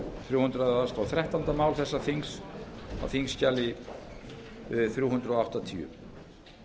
þrjú hundruð og þrettánda mál þessa þings á þingskjali þrjú hundruð áttatíu